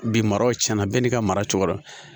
Bi maraw cɛnna bɛɛ n'i ka mara cogoya